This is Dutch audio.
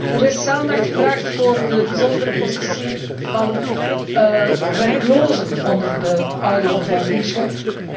Er is aandacht gevraagd voor de bijzondere positie van werklozen onder de oudere bevolkingsgroep.